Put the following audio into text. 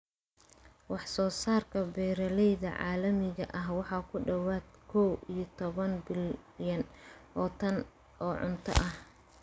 Wax-soo-saarka beeralayda caalamiga ahi waa ku dhawaad ??kow iyo toban bilyan oo tan oo cunto ah.